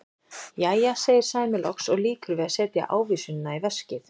Jæja, segir Sæmi loks og lýkur við að setja ávísunina í veskið.